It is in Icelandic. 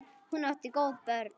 Hún átti góð börn.